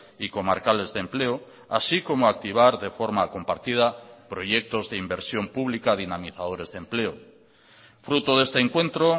y comarcales de empleo así como activar de forma compartida proyectos de inversión pública dinamizadores de empleo fruto de este encuentro